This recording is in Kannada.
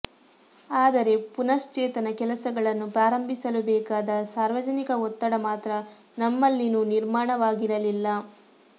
ಆದರೆ ಪುನಶ್ಚೇತನ ಕೆಲಸಗಳನ್ನು ಪ್ರಾರಂಭಿಸಲು ಬೇಕಾದ ಸಾರ್ವಜನಿಕ ಒತ್ತಡ ಮಾತ್ರ ನಮ್ಮಲ್ಲಿನ್ನೂ ನಿರ್ಮಾಣವಾಗಿರಲಿಲ್ಲ